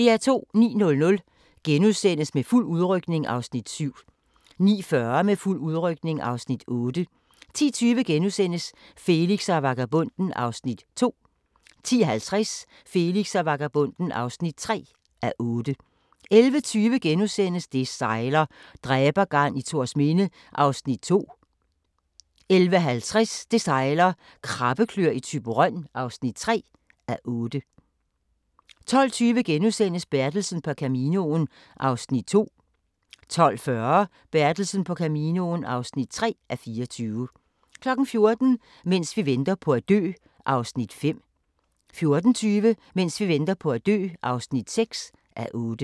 09:00: Med fuld udrykning (Afs. 7)* 09:40: Med fuld udrykning (Afs. 8) 10:20: Felix og vagabonden (2:8)* 10:50: Felix og vagabonden (3:8) 11:20: Det sejler - dræbergarn i Thorsminde (2:8)* 11:50: Det sejler - Krabbekløer i Thyborøn (3:8) 12:20: Bertelsen på Caminoen (2:24)* 12:40: Bertelsen på Caminoen (3:24) 14:00: Mens vi venter på at dø (5:8) 14:20: Mens vi venter på at dø (6:8)